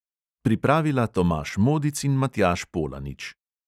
Pripravila tomaž modic in matjaž polanič.